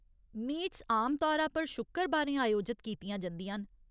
Meets आम तौरा पर शुक्करबारें आयोजत कीतियां जंदियां न।